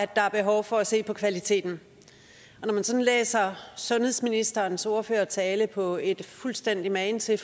der er behov for at se på kvaliteten når man læser sundhedsministerens ordførertale på et er fuldstændig magen til